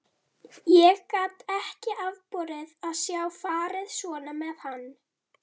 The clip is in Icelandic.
Ég gat ekki afborið að sjá farið svona með hann.